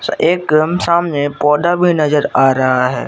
एकदम सामने पौधा में नजर आ रहा है।